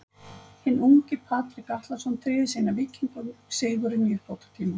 Hinn ungi Patrik Atlason tryggði síðan Víkingum sigurinn í uppbótartíma.